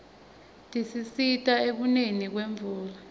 tisisita ekuneni kwemvula